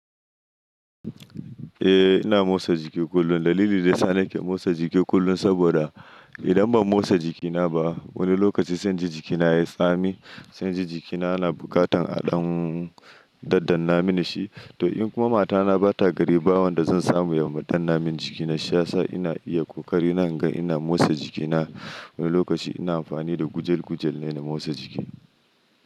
Eh ina motsa jiki kullum. Dalili daya sa nake motsa jiki kullum saboda idan ban motsa jikina ba wani lokaci zan ji jikina ya tsami, sani inji jikina na bukatan a ɗan daddanna mini shi. To in kuma matana bata gari bawan da zan samu ya danna min jikina shiyasa ina iya ƙoƙari naga ina motsa jikina. Wani lokaci ina amfani da gujel gujel ne na motsa jiki.